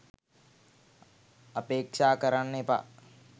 අපේක්ෂා කරන්න එපා.